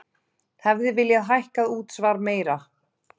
Hefði viljað hækka útsvar meira